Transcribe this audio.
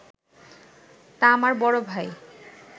তা আমার বড় ভাই